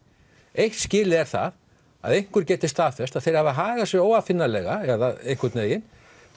eitt skilyrði er það að einhver geti staðfest að þeir hafi hagað sér óaðfinnanlega eða einhvern veginn